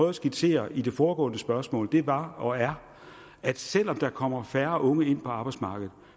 at skitsere i det foregående spørgsmål var og er at selv om der kommer færre unge ind på arbejdsmarkedet